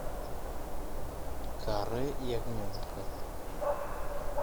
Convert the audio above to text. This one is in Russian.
каре ягненка